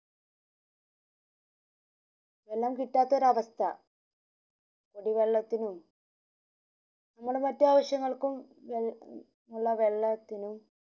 എല്ലാം കിട്ടാത്ത ഒരു അവസ്ഥ കുടി വെള്ളത്തിനും നമ്മളെ മറ്റു ആവശ്യങ്ങൾക്കും വെള്ള വെള്ളത്തിനും എല്ലാം കിട്ടാത്ത ഒരവസ്ഥ